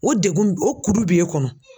O degun ni o kuru b'e kɔnɔ